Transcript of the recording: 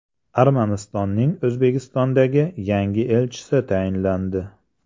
Armanistonning O‘zbekistondagi yangi elchisi tayinlandi.